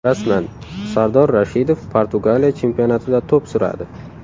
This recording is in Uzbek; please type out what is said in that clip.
Rasman: Sardor Rashidov Portugaliya chempionatida to‘p suradi.